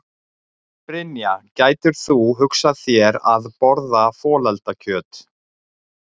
Brynja: Gætir þú hugsað þér að borða folaldakjöt?